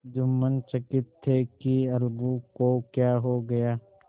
जुम्मन चकित थे कि अलगू को क्या हो गया